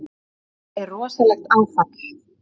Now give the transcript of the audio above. Þetta er rosalegt áfall.